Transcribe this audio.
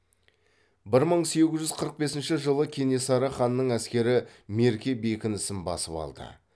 бір мың сегіз жүз қырық бесінші жылы кенесары ханның әскері мерке бекінісін басып алды